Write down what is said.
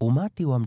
Umati wa